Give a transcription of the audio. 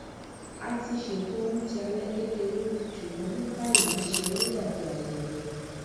a ti ṣètò oúnjẹ alé kékeré ṣùgbọn ní báyìí ńṣe ló dà bí ayẹyẹ